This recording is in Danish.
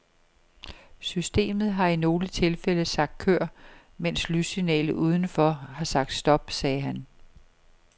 Systemet har i nogle tilfælde sagt kør, mens lyssignalet uden for har sagt stop, sagde han.